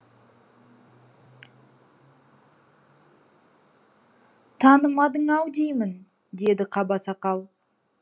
танымадың ау деймін деді қаба сақал